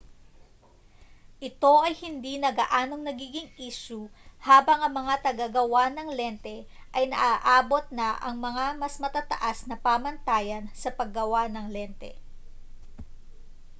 ito ay hindi na gaanong nagiging isyu habang ang mga tagagawa ng lente ay naaabot na ang mas matataas na pamantayan sa paggawa ng lente